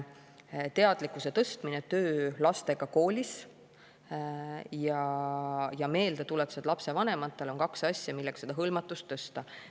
Teadlikkuse tõstmine, töö lastega koolis ja meeldetuletused lapsevanematele on need asjad, millega seda hõlmatust suurendada.